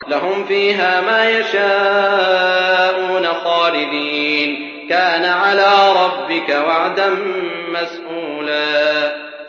لَّهُمْ فِيهَا مَا يَشَاءُونَ خَالِدِينَ ۚ كَانَ عَلَىٰ رَبِّكَ وَعْدًا مَّسْئُولًا